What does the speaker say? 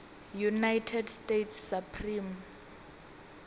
united states supreme